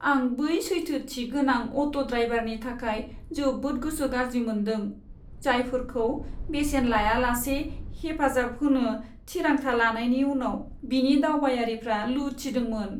आं बै सैथोथि गोनां अट' ड्राइभारनि थाखाय जोबोद गोसो गाज्रि मोन्दों, जायफोरखौ बेसेन लायालासे हेफाजाब होनो थिरांथा लानायनि उनाव बिनि दावबायारिफ्रा लुथिदोंमोन।